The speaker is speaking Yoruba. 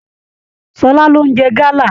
Ṣọlá lo n jẹ gala.